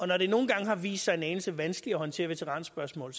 når det nogle gange har vist sig en anelse vanskeligt at håndtere veteranspørgsmål